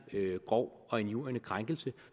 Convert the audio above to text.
grov og injurierende krænkelse